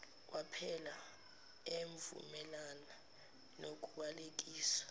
waphela evumelana nokubalekiswa